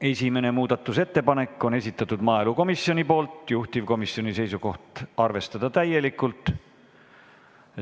Esimese muudatusettepaneku on esitanud maaelukomisjoni poolt, juhtivkomisjoni seisukoht: arvestada täielikult.